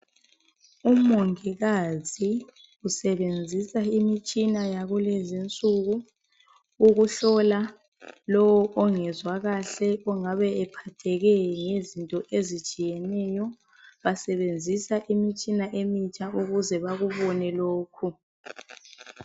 Umongikazi usebenzisa imitshina yakulezi nsuku ukuhlola lowo ongezwa kahle ongabe ephatheke ngezinto ezitshiyeneyo basebenzisa imitshina emitsha ukuze bakubone lokhu